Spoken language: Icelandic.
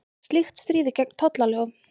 Slíkt stríði gegn tollalögum